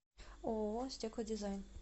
ооо стеклодизайн